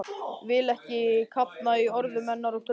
Vil ekki kafna í orðum hennar og draumum.